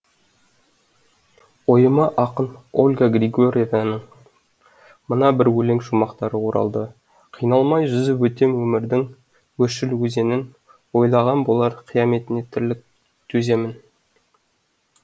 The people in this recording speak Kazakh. ойыма ақын ольга григорьеваның мына бір өлең шумақтары оралды қиналмай жүзіп өтем өмірдің өршіл өзенін ойлаған болар қияметіне тірлік төземін